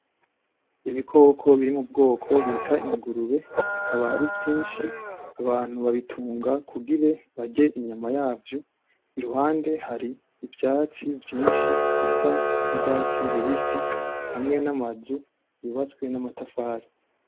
Ibikoko biri mubwoko bita ingurube, bikaba ari vyinshi ,abantu babitunga kugire barye inyama yavyo, iruhande yaho hari ivyatsi vyinshi bisa n'urwatsi rubisi, hamwe n'amazu yubatswe n'amatafari.